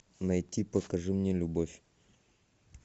найти покажи мне любовь